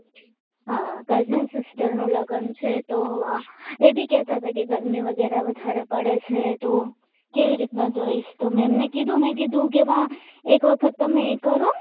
આ cousin sister નું લગન છે તો એબી કહેતા હતા કે ગરમી વગેરે વધારે પડે છે તો કેવી રીતના જઈશ તમે એમને કીધું કીધું વાહ એક વખત તમે એ કરો